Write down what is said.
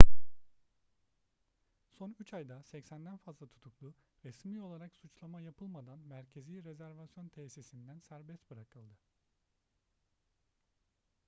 son 3 ayda 80'den fazla tutuklu resmi olarak suçlama yapılmadan merkezi rezervasyon tesisinden serbest bırakıldı